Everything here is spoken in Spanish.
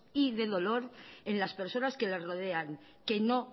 y de dolor en las personas que les rodean que no